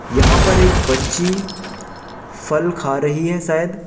यहां पर एक बच्ची फल खा रही है शायद--